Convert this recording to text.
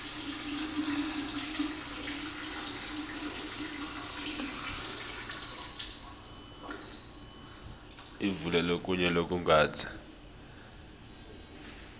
ivule lokunye lokungatsi